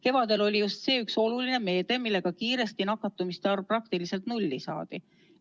Kevadel oli just see üks oluline meede, millega kiiresti nakatumiste arv praktiliselt nulli saadi.